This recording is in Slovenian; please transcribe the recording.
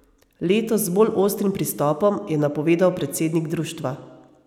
Letos z bolj ostrim pristopom, je napovedal predsednik društva.